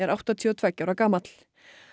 áttatíu og tveggja ára gamall